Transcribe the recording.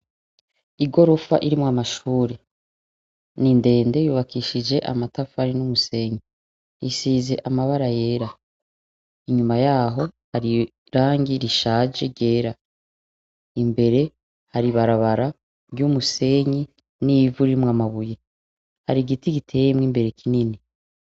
Igirofa irimw’amashure, ni ndende yubakishije amatafari n’umusenyi, isize amabara yera, inyuma yaho har’irangi rishaje ryera. Imbere Har’ibarabara ry’umusenyi n’ivu ririmw’amabuye n’igiti giteyemw’imbere kinini.